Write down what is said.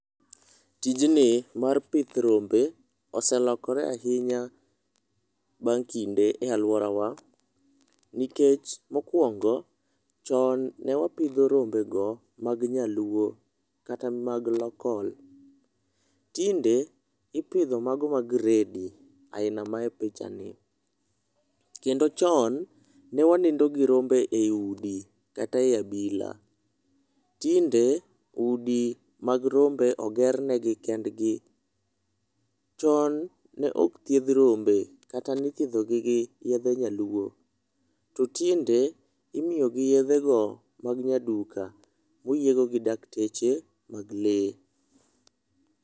Tijni mar pith rombe oselokore ahinya bang' kinde e aluorawa nikech mokwongo, chon ne wapidho rombe go mag nyaluo kata mag local, tinde ipidho mago ma gredi aina mae picha ni kendo chon ne wanindo gi rombe e udi kata e abila tinde udi mag rombe oger negi kendgi. Chon ne ok thiedh rombe kata nithiedho gi gi yedhe nyaluo to tinde imiyo gi yedhe go mag nyaduka moyiego gi dakteche mag lee.